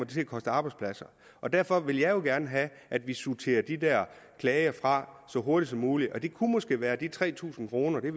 til at koste arbejdspladser derfor vil jeg jo gerne have at vi sorterer de der klager fra så hurtigt som muligt og det kunne måske være med de tre tusind kroner vi